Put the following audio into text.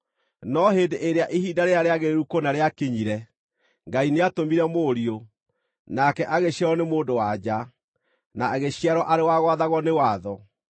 No hĩndĩ ĩrĩa ihinda rĩrĩa rĩagĩrĩru kũna rĩakinyire, Ngai nĩatũmire Mũriũ, nake agĩciarwo nĩ mũndũ-wa-nja, na agĩciarwo arĩ wa gwathagwo nĩ watho,